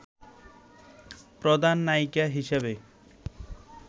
প্রধান নায়িকা হিসেবে